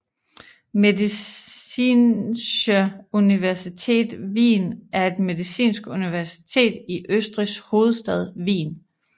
Medizinische Universität Wien er et medicinsk universitet i Østrigs hovedstad Wien